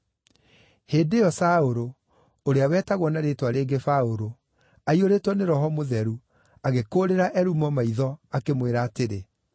Hĩndĩ ĩyo Saũlũ, ũrĩa wetagwo na rĩĩtwa rĩngĩ Paũlũ aiyũrĩtwo nĩ Roho Mũtheru, agĩkũũrĩra Elumo maitho, akĩmwĩra atĩrĩ,